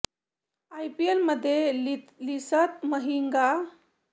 आयपीएलमध्ये लसिथ मलिंगाहा सर्वाधिक विकेट घेणारा खेळाडू आहे